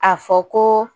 A fɔ ko